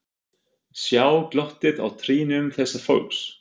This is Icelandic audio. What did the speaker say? Sjá glottið á trýnum þessa fólks.